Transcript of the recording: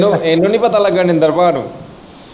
ਇਹਨੂੰ ਨਹੀਂ ਪਤਾ ਲੱਗਾ ਮਨਿਦਰ ਪਾ ਨੂੰ।